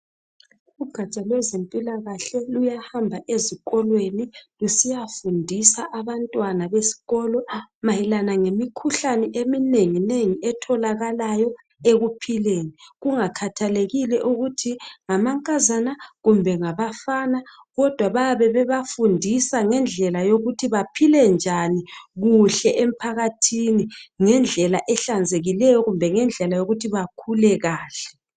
Ugada lwezempilakahle luyahamba ezikolweni lusiyafundisa abantwana besikolo mayelane ngemikhuhlane eminengi nengi etholakalayo ekuphileni kungakhathalekile ukuthi ngamankazana kumbe ngabafana kodwa bayabe bebafundisa ngendlela okumele bephile njani kuhle emphakathini ngendlela ehlanzekileyo kumbe ngendlela okumele baphile kahle